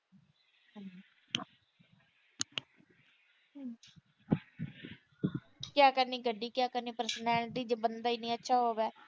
ਕਿਆ ਕਰਨੀ ਗੱਡੀ, ਕਿਆ ਕਰਨੀ personality ਜੇ ਬੰਦਾ ਈ ਨੀ ਅੱਛਾ ਹੋਊਗਾ।